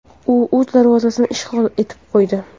U o‘z darvozasini ishg‘ol etib qo‘ydi.